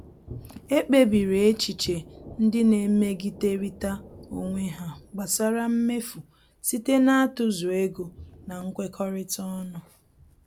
Ekpebiri echiche ndị na-emegiderịta onwe ha gbasara mmefu site n'atụzụ ego na nkwekọrịta ọnụ.